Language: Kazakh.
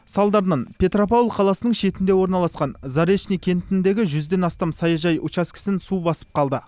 салдарынан петропавл қаласының шетінде орналасқан заречный кентіндегі жүзден астам саяжай учаскесін су басып қалды